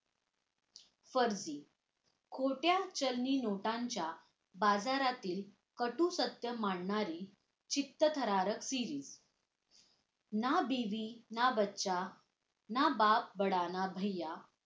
फर्जी खोट्या चलनी नोटांच्या बाजारातील कटू सत्य मांडणारी चित्तथरारक series ना बीवी ना बच्चा ना बाप बडा ना भय्या